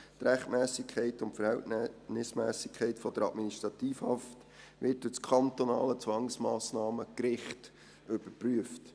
Die Rechtmässigkeit und Verhältnismässigkeit der Administrativhaft wird durch das kantonale Zwangsmassnahmengericht überprüft.